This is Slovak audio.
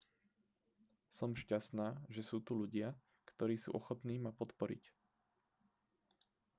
som šťastná že sú tu ľudia ktorí sú ochotní ma podporiť